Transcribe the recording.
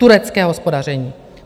Turecké hospodaření!